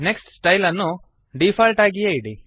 next style ಅನ್ನು default ಆಗಿಯೇ ಇಡಿ